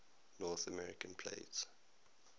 north american plate